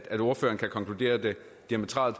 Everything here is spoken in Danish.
svare